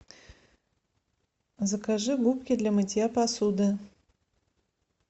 закажи губки для мытья посуды